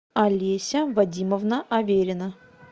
олеся вадимовна аверина